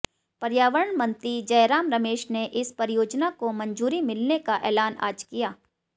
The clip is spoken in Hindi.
पर्यावरण मंत्री जयराम रमेश ने इस परियोजना को मंजूरी मिलने का ऐलान आज किया